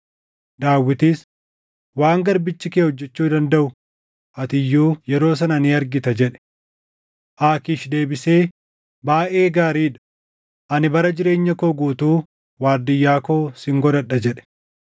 Daawitis, “Waan garbichi kee hojjechuu dandaʼu ati iyyuu yeroo sana ni argita” jedhe. Aakiish deebisee, “Baayʼee gaarii dha; ani bara jireenya koo guutuu waardiyyaa koo sin godhadha” jedhe.